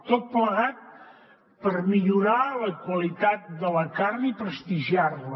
tot plegat per millorar la qualitat de la carn i prestigiar·la